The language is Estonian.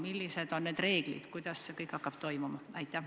Millised on need reeglid, kuidas see kõik hakkab toimuma?